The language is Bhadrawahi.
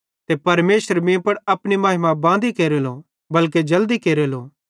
ते परमेशर भी मीं एप्पू महिमा बालो केरेलो बल्के जल्दी केरेलो